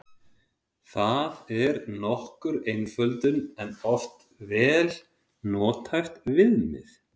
Það er nokkur einföldun en oft vel nothæft viðmið.